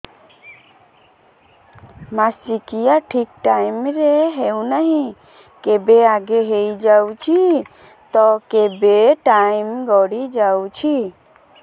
ମାସିକିଆ ଠିକ ଟାଇମ ରେ ହେଉନାହଁ କେବେ ଆଗେ ହେଇଯାଉଛି ତ କେବେ ଟାଇମ ଗଡି ଯାଉଛି